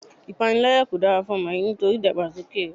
Ipanilaya kò dára fún ọmọ yìí nítorí idagbasoke rẹ.